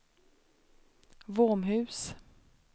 Våmhus